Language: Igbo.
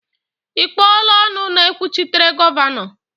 Ị kpọọla ọnụ na-ekwuchitere Gọvanọ?